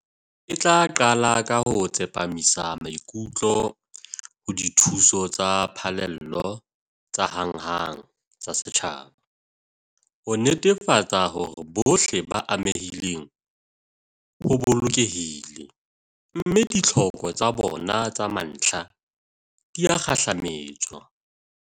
E tla qala ka ho tsepamisa maikutlo ho dithuso tsa phallelo tsa hanghang tsa setjhaba, ho netefatsa hore bohle ba amehileng o bolokehile, mme ditlhoko tsa bona tsa mantlha di a kgahlametswa.